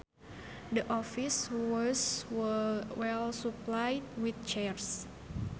The office was well supplied with chairs